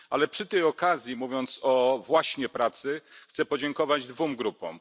Ale przy tej okazji, mówiąc właśnie o pracy, chcę podziękować dwóm grupom.